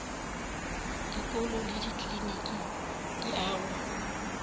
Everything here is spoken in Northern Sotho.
dikolo le dikliniki di agwa